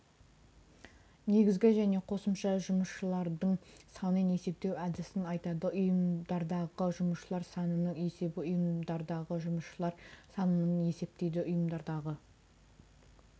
негізгі және қосымша жұмысшылардың санын есептеу әдісін айтады ұйымдардағы жұмысшылар санының есебі ұйымдардағы жұмысшылар санының есептейді ұйымдардағы